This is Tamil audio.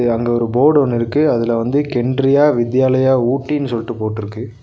இது அங்க ஒரு போடு ஒன்னு இருக்கு அதுல வந்து கென்ரியா வித்யாலயா ஊட்டின்னு சொல்ட்டு போட்ருக்கு.